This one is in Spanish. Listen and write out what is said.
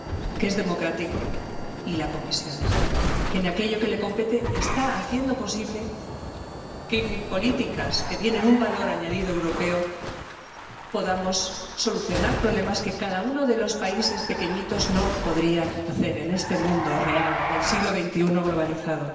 que es democrático, y a la Comisión, que en aquello que le compete está haciendo posible que con políticas que tienen un valor añadido europeo podamos solucionar problemas que cada uno de los países pequeñitos no podrían solucionar en este mundo real del siglo XXI globalizado.